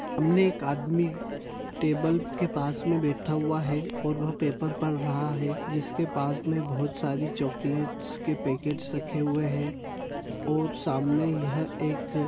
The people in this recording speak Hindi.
सामने एक आदमी टेबल के पास में बैठा हुआ है और पेपर पढ़ रहा है उसके पास में बहुत सारे चॉकलेट्स के पैकेट रखे हुए हैं और सामने यह एक--